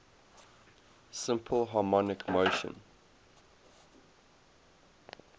simple harmonic motion